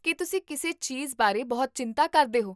ਕੀ ਤੁਸੀਂ ਕਿਸੇ ਚੀਜ਼ਬਾਰੇ ਬਹੁਤ ਚਿੰਤਾ ਕਰਦੇ ਹੋ?